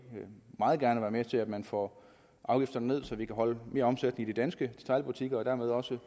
meget gerne være med til at man får afgifterne ned så vi kan holde mere omsætning i de danske detailbutikker og dermed også